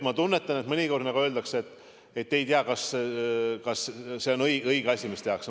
Ma tunnetan, et mõnikord nagu öeldakse, et ei tea, kas see on õige asi, mis tehakse.